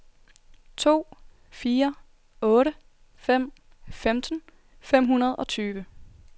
to fire otte fem femten fem hundrede og tyve